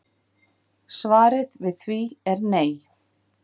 Svarið við því er nei